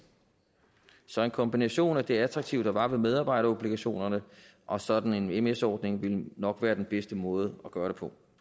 så en kombination af det attraktive der var ved medarbejderobligationerne og sådan en ms ordning ville nok være den bedste måde at gøre det på